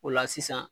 O la sisan